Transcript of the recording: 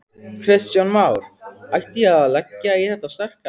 Kristján Már: Ætti ég að leggja í þetta sterka?